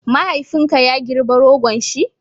mahaifin ka ya girba rogon shi?